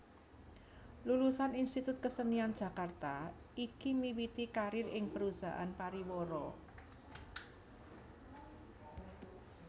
Lulusan Institut Kesenian Jakarta iki miwiti karir ing perusahaan pariwara